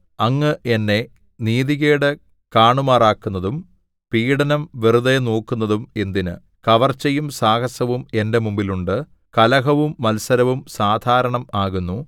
അങ്ങ് എന്നെ നീതികേട് കാണുമാറാക്കുന്നതും പീഢനം വെറുതെ നോക്കുന്നതും എന്തിന് കവർച്ചയും സാഹസവും എന്റെ മുമ്പിൽ ഉണ്ട് കലഹവും മത്സരവും സാധാരണം ആകുന്നു